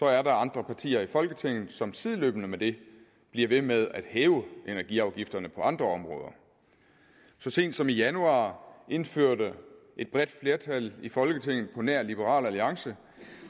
er der andre partier i folketinget som sideløbende med det bliver ved med at hæve energiafgifterne på andre områder så sent som i januar indførte et bredt flertal i folketinget på nær liberal alliance